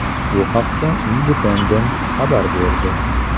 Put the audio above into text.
Bu haqda Independent xabar berdi .